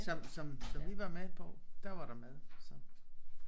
Som som som vi var med på der var der mad så